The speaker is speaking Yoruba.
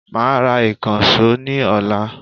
I will buy a new hammer tomorrow